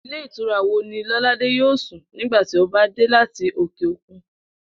Ilé ìtura wo ni Ló̩ládé yóò sùn nígbà tí ó bá dé láti òkè òkun?